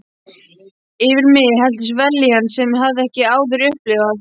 Yfir mig helltist vellíðan sem ég hafði ekki áður upplifað.